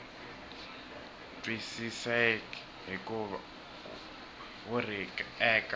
twisiseki hikuva wu ri eka